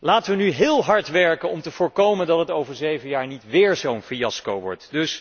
Laten wij nu heel hard werken om te voorkomen dat het over zeven jaar niet weer zo'n fiasco wordt.